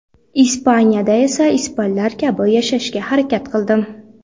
Ispaniyada esa ispanlar kabi yashashga harakat qildim.